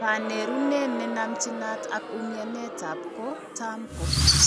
Kanerunet ne namchinat ak umianetab ko tam ko